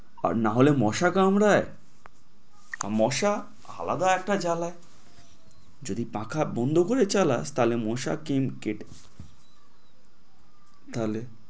আর না হলে মশা কামড়ায়, মশা আলাদা একটা জ্বালা। যদি পাখা বন্ধ করে চালাই তালে মশা কিং~ কে